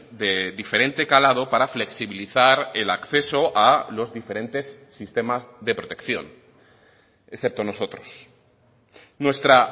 de diferente calado para flexibilizar el acceso a los diferentes sistemas de protección excepto nosotros nuestra